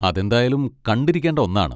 അതെന്തായാലും കണ്ടിരിക്കേണ്ട ഒന്നാണ്.